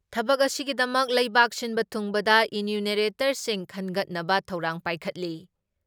ꯊꯕꯛ ꯑꯁꯤꯒꯤꯗꯃꯛ ꯂꯩꯕꯥꯛ ꯁꯤꯟꯕ ꯊꯨꯡꯕꯗ ꯏꯅ꯭ꯌꯨꯅꯦꯔꯦꯇꯔꯁꯤꯡ ꯈꯟꯒꯠꯅꯕ ꯊꯧꯔꯥꯡ ꯄꯥꯏꯈꯠꯂꯤ ꯫